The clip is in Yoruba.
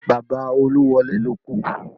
Bàbá Oluwole ló kú